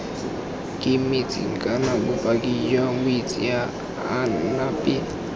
kemetseng kana bopaki jwa moitseanape